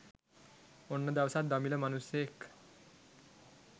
ඔන්න දවසක් දමිළ මනුස්සයෙක්